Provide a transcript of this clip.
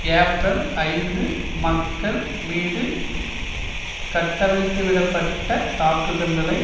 April ஐந்து மக்கள் மீது கட்டவிழ்த்துவிட பட்ட தாக்குதல்களை